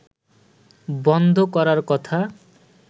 বন্ধ করার কথা